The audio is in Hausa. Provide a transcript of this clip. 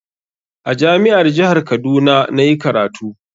A jami'ar jihar Kaduna na yi karatu.